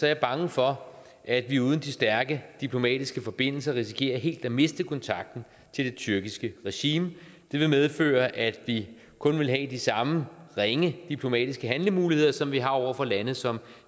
jeg bange for at vi uden de stærke diplomatiske forbindelser risikerer helt at miste kontakten til det tyrkiske regime det vil medføre at vi kun vil have de samme ringe diplomatiske handlemuligheder som vi har over for lande som